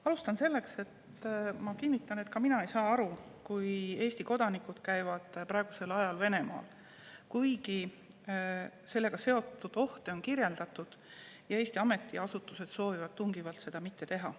Alustan sellest ja kinnitan, et ka mina ei saa aru sellest, kui Eesti kodanikud käivad praegusel ajal Venemaal, kuigi sellega seotud ohte on kirjeldatud ja Eesti ametiasutused soovitavad tungivalt seda mitte teha.